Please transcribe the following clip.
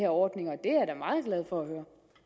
ordninger og hvis